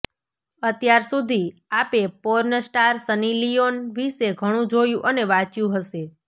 અત્યાર સુધી આપે પોર્ન સ્ટાર સન્ની લિયોન વિશે ઘણું જોયું અને વાંચ્યું હશે